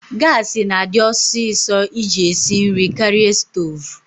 Gaasi na-adi ọsịsọ iji esi nri karịa stoovu.